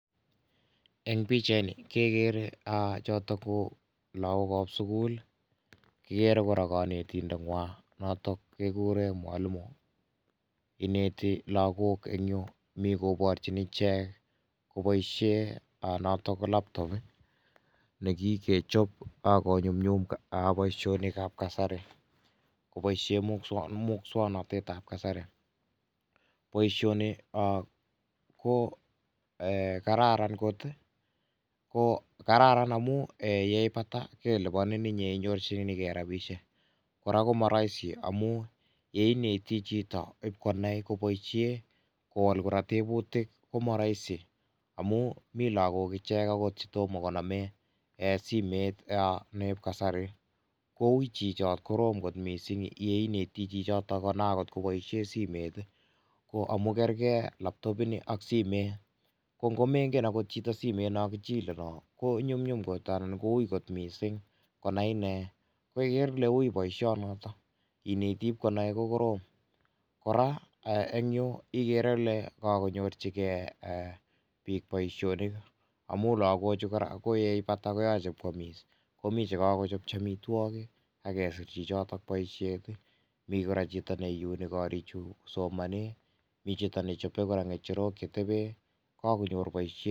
En pichait nii kegere aah chotoon ko lagook ab sugul ii kigere kora kanetindet nywaany notoon kigureen mwalimuu inetii lagook en yuu Mii korporjiin icheek kobaisheen not ko laptop negikechaap ago nyunyum boisionik ab kasari, kobaisheen musangnatet ab kasari boisioni ko kararan koot ii kararan amuun ye ipataa kelupaniin inyei inyorjinikei rapisheek kora komaraisi amuun yeinetii chitoo IP konai kobaisheen kowaal kora tebutiik ko maye ko Rahisi amuun Mii lagook akoot agicheek che mara toma konamgei eeh simeet niep kasari kowuit chichotoon ,korom koot missing ye inetii chichotoon konai akoot kobaisheen simeet ko amuun kergei akoot laptop ini ak simeet ko mengeen akoot chitoo simeet naan kichile noon kowui koot missing konai inei, igere Ile wui boision notoon igere Ile wui ko korom kora eeh Yuu igere Ile kakonyoorjigei eeh biik boisionik amuun lagook chuu yeipataa IP komachei koyamis ako Mii che kagochapchii amitwagiik agesiir chitoo boisiet ii Mii kora chitoo neunee koriik chuu kosomaneen , miten kora che chape che tebeen kakonyoor kora boisiet.